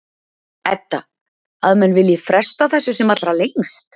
Edda: Að menn vilji fresta þessu sem allra lengst?